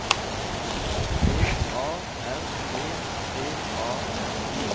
I V A R E T A R